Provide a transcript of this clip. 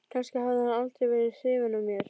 Kannski hafði hann aldrei verið hrifinn af mér.